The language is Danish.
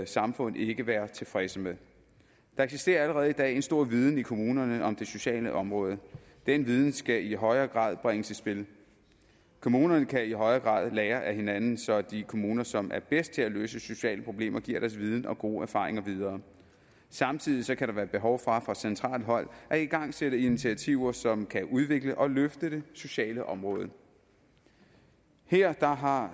samfund ikke være tilfredse med der eksisterer allerede i dag en stor viden i kommunerne om det sociale område den viden skal i højere grad bringes i spil kommunerne kan i højere grad lære af hinanden så de kommuner som er bedst til at løse sociale problemer giver deres viden og gode erfaringer videre samtidig kan der være behov for fra centralt hold at igangsætte initiativer som kan udvikle og løfte det sociale område her har